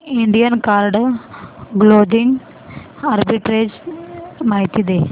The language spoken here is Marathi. इंडियन कार्ड क्लोदिंग आर्बिट्रेज माहिती दे